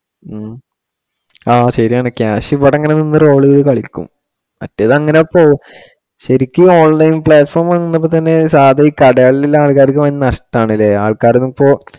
ഉം അഹ് ശരിയാണ് cash ഇപ്പൊ ഇവിടെ അങ്ങിനെ നിന്ന് roll ചെയ്തു കളിക്കും. മറ്റേതങ്ങനെ ഇപ്പൊ ശരിക്കും online platform വന്നപ്പോ തന്നെ സാധാ ഈ കടകളില്‍ ഉള്ള ആൾക്കാർക്ക് ഭയങ്കര നഷ്ടം ആണ് ഇല്ലേ, ആൾക്കാരൊന്നും ഇപ്പൊ